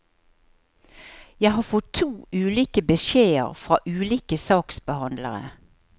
Jeg har fått to ulike beskjeder fra ulike saksbehandlere.